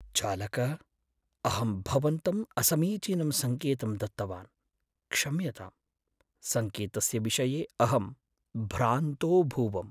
चालक! अहं भवन्तं असमीचीनं सङ्केतं दत्तवान्। क्षम्यताम्। सङ्केतस्य विषये अहं भ्रान्तोऽभूवम्।